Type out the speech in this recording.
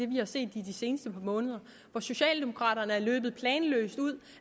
vi har set i de seneste par måneder hvor socialdemokraterne er løbet planløst ud